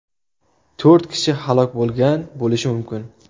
To‘rt kishi halok bo‘lgan bo‘lishi mumkin.